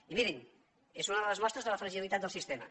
i mirin és una de les mostres de la fragilitat del sistema